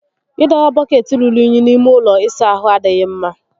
Ị dọba bọkeetị rùrù únyí n'ime ụlọ ịsa ahụ adịghị mmá